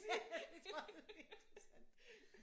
Ja jeg tror det bliver interessant